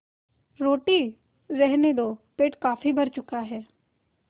रोटी रहने दो पेट काफी भर चुका है